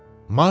Marta?